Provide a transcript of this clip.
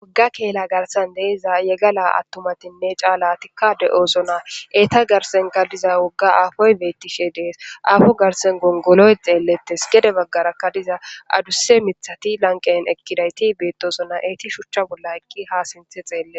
Wogga keela garsan deeza yegala attumatinne caala tikka de7oosona eeta garsen galdiza wogga aafoy bettishe dees aafo garsen gongoloy xeellettes gede baggarakka diza aduse mithati lanqen ekkidayti beettosona eeti shuchcha bolla ekki ha sinthe xeelle